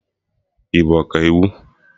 Ị bụ Ọkaiwu?